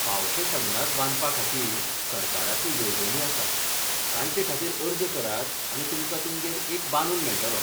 फावशे संडास बांदपाखातीर सरकाराच्यो येवजणीआसात, तांचेखातीर अर्ज करात आनी तुमकां तुमगेर एक बांदून मेळटलो.